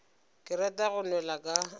ke rata go nwela ka